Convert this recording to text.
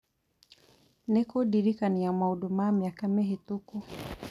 nĩ kũndirikania maũndũ ma mĩaka mĩhĩtũku